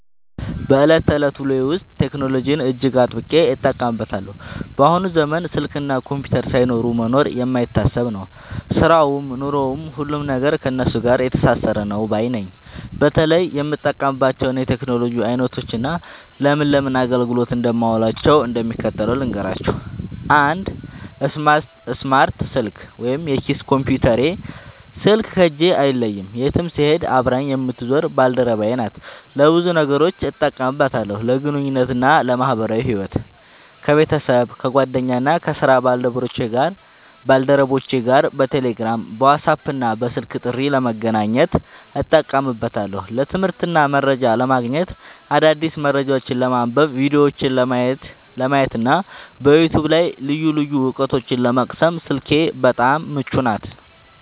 በዕለት ተዕለት ውሎዬ ውስጥ ቴክኖሎጂን እጅግ አጥብቄ እጠቀምበታለሁ። በአሁኑ ዘመን ስልክና ኮምፒውተር ሳይኖሩ መኖር የማይታሰብ ነው፤ ሥራውም ኑሮውም፣ ሁሉም ነገር ከእነሱ ጋር የተሳሰረ ነው ባይ ነኝ። በተለይ የምጠቀምባቸውን የቴክኖሎጂ ዓይነቶችና ለምን ለምን አገልግሎት እንደማውላቸው እንደሚከተለው ልንገራችሁ፦ 1. ስማርት ስልክ (የኪስ ኮምፒውተሬ) ስልክ ከእጄ አይለይም፤ የትም ስሄድ አብራኝ የምትዞር ባልደረባዬ ናት። ለብዙ ነገሮች እጠቀምባታለሁ፦ ለግንኙነትና ለማኅበራዊ ሕይወት፦ ከቤተሰብ፣ ከጓደኞቼና ከሥራ ባልደረቦቼ ጋር በቴሌግራም፣ በዋትስአፕና በስልክ ጥሪ ለመገናኘት እጠቀምበታለሁ። ለትምህርትና መረጃ ለማግኘት፦ አዳዲስ መረጃዎችን ለማንበብ፣ ቪዲዮዎችን ለማየትና በዩቲዩብ ላይ ልዩ ልዩ ዕውቀቶችን ለመቅሰም ስልኬ በጣም ምቹ ናት።